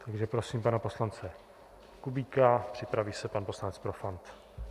Takže prosím pana poslance Kubíka, připraví se pan poslanec Profant.